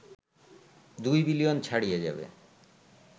২ billion ছাড়িয়ে যাবে